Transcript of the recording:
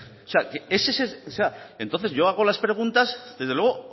o sea entonces yo hago las preguntas desde luego